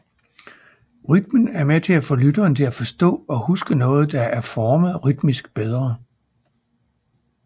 Rytmen er med til at få lytteren til at forstå og huske noget der er formet rytmisk bedre